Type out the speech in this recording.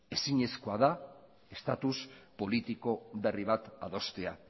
ezinezkoa da estatus politiko berri bat adostea